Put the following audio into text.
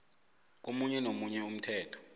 komunye nomunye umthetho